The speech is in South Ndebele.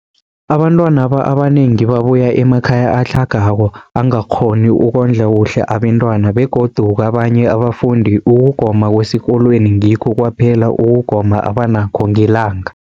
Abantwana abanengi babuya emakhaya atlhagako angakghoni ukondla kuhle abentwana, begodu kabanye abafundi, ukugoma kwesikolweni ngikho kwaphela ukugoma abanakho ngelanga.